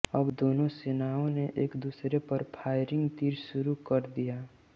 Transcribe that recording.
अब दोनों सेनाओं ने एक दूसरे पर फायरिंग तीर शुरू कर दिया